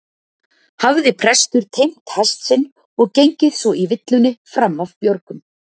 Hafði prestur teymt hest sinn og gengið svo í villunni fram af björgum.